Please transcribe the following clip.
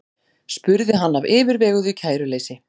spurði hann af yfirveguðu kæruleysi.